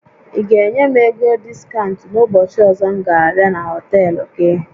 Ị ga-enye m ego diskaụnt n'ụbọchị ọzọ m ga abịa na họtel gị?